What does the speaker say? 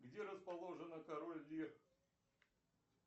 где расположена король лир